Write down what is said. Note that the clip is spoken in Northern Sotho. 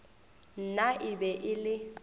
nna e be e le